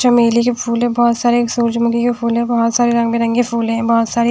चमेली के फूल है बहुत सारे सूरज मुक्ति के फूल है बहुत सारे रंग बिरंग के फूल है बहुत सारे --